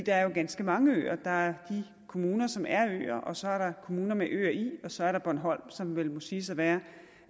er jo ganske mange øer der er de kommuner som er øer og så er der kommuner med øer i og så er der bornholm som vel må siges at være